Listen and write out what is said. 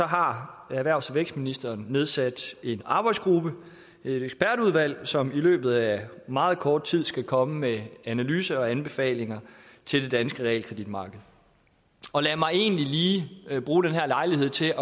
har erhvervs og vækstministeren nedsat en arbejdsgruppe et ekspertudvalg som i løbet af meget kort tid skal komme med analyser af og anbefalinger til det danske realkreditmarked lad mig egentlig lige bruge den her lejlighed til at